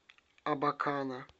абакана